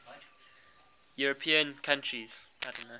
european countries